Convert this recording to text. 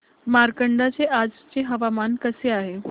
मार्कंडा चे आजचे हवामान कसे आहे